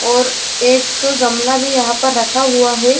और एक गमला भी यहाँ पर रखा हुआ है |